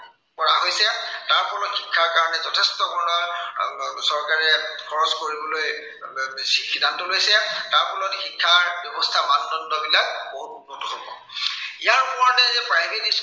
কৰা হৈছে। তাৰ ফলত শিক্ষাৰ কাৰনে যথেষ্ট ধৰনৰ আহ চৰকাৰে খৰচ কৰিবলৈ এৰ যি সিদ্ধান্ত লৈছে। তাৰ ফলত শিক্ষা ব্য়ৱস্থাৰ মানদণ্ড বিলাক বহুত উন্নত হব। ইয়োৰাপৰি